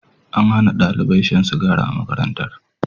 An Hana ɗalibai shan sigari a makarantar